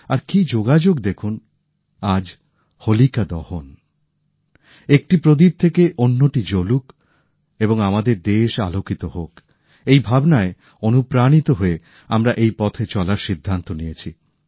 আর কি যোগাযোগ দেখুন আজ হোলিকা দহন একটি প্রদীপ থেকে অন্যটি জ্বলুক এবং আমাদের দেশ আলোকিত হোক এই ভাবনায় অনুপ্রাণিত হয়ে আমরা এই পথে চলার সিদ্ধান্ত নিয়েছি